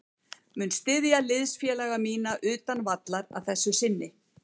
Mun styðja liðsfélaga mína utan vallar að þessu sinni.